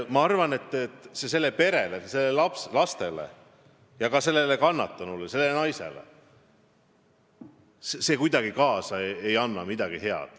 Ma arvan, et see kõik sellele perele, nendele lastele ja ka sellele kannatanule, sellele naisele midagi head ei anna.